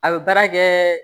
A bɛ baara kɛ